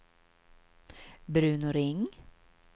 Bruno Ring